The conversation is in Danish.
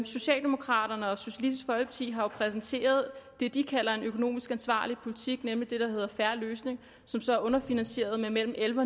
socialdemokraterne og socialistisk folkeparti har jo præsenteret det de kalder en økonomisk ansvarlig politik nemlig det der hedder en fair løsning som så er underfinansieret med mellem elleve